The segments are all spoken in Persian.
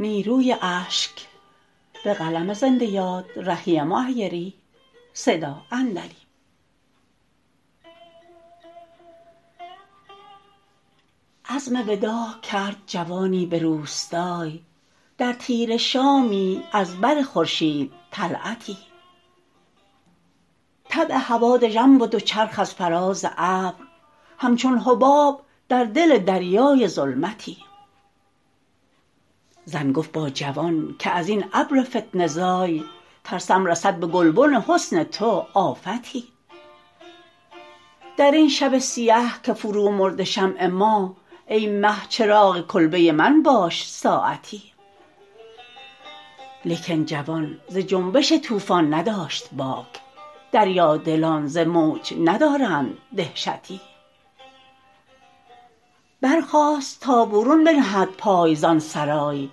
عزم وداع کرد جوانی به روستای در تیره شامی از بر خورشید طلعتی طبع هوا دژم بد و چرخ از فراز ابر همچون حباب در دل دریای ظلمتی زن گفت با جوان که از این ابر فتنه زای ترسم رسد به گلبن حسن تو آفتی در این شب سیه که فرو مرده شمع ماه ای مه چراغ کلبه من باش ساعتی لیکن جوان ز جنبش طوفان نداشت باک دریادلان ز موج ندارند دهشتی برخاست تا برون بنهد پای زآن سرای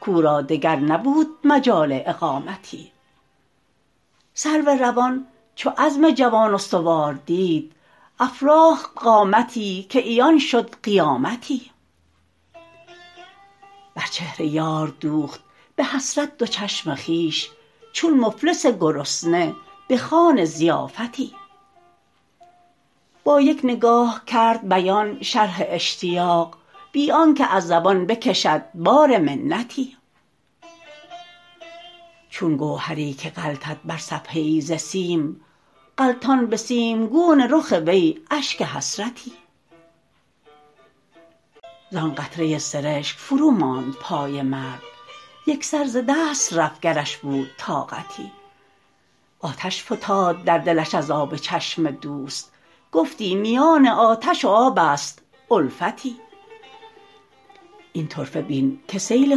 کاو را دگر نبود مجال اقامتی سرو روان چو عزم جوان استوار دید افراخت قامتی که عیان شد قیامتی بر چهر یار دوخت به حسرت دو چشم خویش چون مفلس گرسنه به خوان ضیافتی با یک نگاه کرد بیان شرح اشتیاق بی آنکه از زبان بکشد بار منتی چون گوهری که غلتد بر صفحه ای ز سیم غلتان به سیمگون رخ وی اشک حسرتی زآن قطره سرشک فروماند پای مرد یکسر ز دست رفت گرش بود طاقتی آتش فتاد در دلش از آب چشم دوست گفتی میان آتش و آب است الفتی این طرفه بین که سیل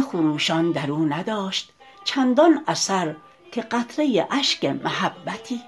خروشان در او نداشت چندان اثر که قطره اشک محبتی